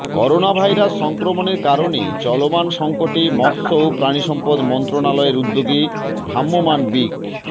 coronavirus সংক্রমণের কারণে চলমান সংকটে মৎস্য ও প্রাণিসম্পদ মন্ত্রণালয়ের উদ্যোগে ভ্রাম্যমাণ বিক্